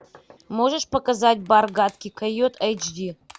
можешь показать бар гадкий койот эйч ди